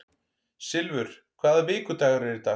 Silfur, hvaða vikudagur er í dag?